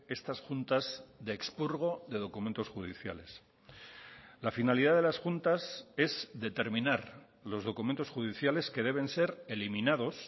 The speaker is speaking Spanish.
estas juntas de expurgo de documentos judiciales la finalidad de las juntas es determinar los documentos judiciales que deben ser eliminados